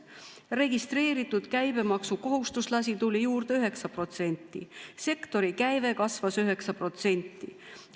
Registreeritud käibemaksukohustuslasi tuli juurde 9%, sektori käive kasvas 9%.